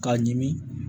K'a ɲimi